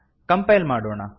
compile ಮಾಡೋಣ